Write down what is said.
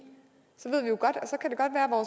og